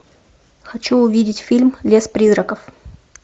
хочу увидеть фильм лес призраков